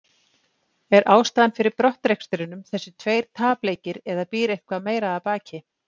Er ástæðan fyrir brottrekstrinum þessir tveir tapleikir eða býr eitthvað meira að baki?